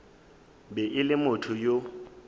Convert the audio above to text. be e le motho yo